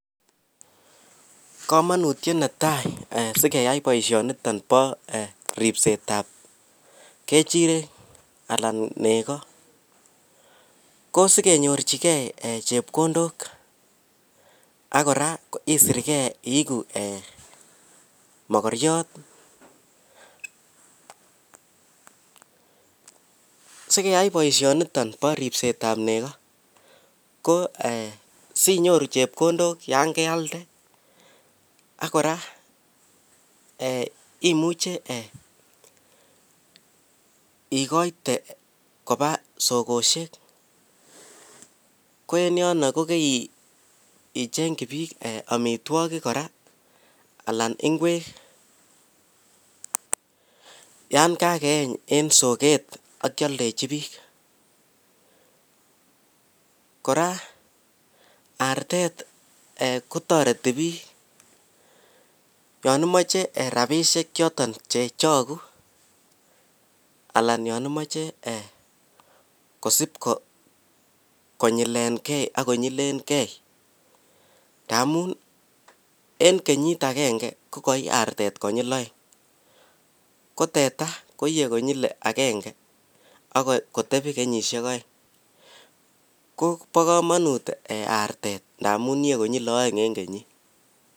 komonutyet netai sigeyai boishoniton bo ribset ab kechirek alan nego, ko sigenyorchigee chepkondook ak kora isirgee iigu mokoryoot sigeyai boishoniton bo ribset ab nego, ko eeh sinyoru chepkondok yaan kealda ak kora imuche eeh igoite koba sogoshek, ko en yono kogeiichengyi biik omitwogik kora alan ingweek yaan kageeny en sogeet ak kyoldechi biik, koraa artet kotoreti biik yon imoche rabishek choton chechogu alan yon imoche kosiib konyilenge ak konyileen gee ngamuun en kenyiit agenge koigoi artet konyiil oeng ko teta koiye konyil agenge ak kotebi kenyishek oeng, ko bokomonut arteet amun iye konyil oeng en kenyit.